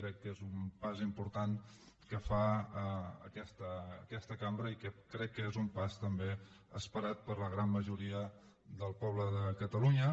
crec que és un pas important que fa aquesta cambra i crec que és un pas també esperat per la gran majoria del poble de catalunya